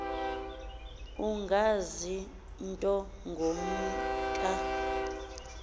ungazi nto ngumka